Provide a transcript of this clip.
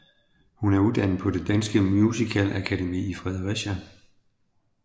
Hun er uddannet på Det Danske Musicalakademi i Fredericia